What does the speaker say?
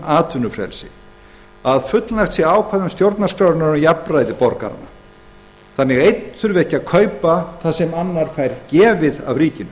atvinnufrelsi sé fullnægt að ákvæðum stjórnarskrárinnar um jafnræði borgaranna sé fullnægt þannig að einn þurfi ekki að kaupa það sem annar fær gefið af ríkinu